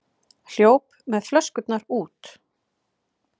Hljóp með flöskurnar út